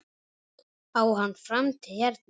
Á hann framtíð hérna?